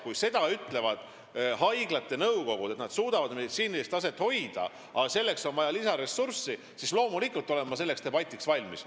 Kui haiglate nõukogud ütlevad seda, et nad suudavad meditsiinilist taset hoida, aga selleks on vaja lisaressurssi, siis loomulikult olen ma debatiks valmis.